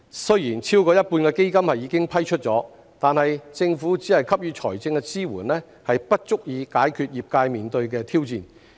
雖然超過一半的基金已經批出，但政府只給予財政支援並不足以解決業界面對的挑戰。